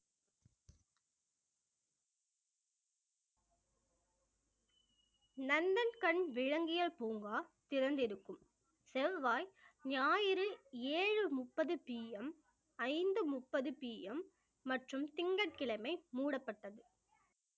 நந்தன்கண் விலங்கியல் பூங்கா திறந்திருக்கும் செவ்வாய், ஞாயிறு ஏழு முப்பது PM ஐந்து முப்பது PM மற்றும் திங்கட்கிழமை மூடப்பட்டது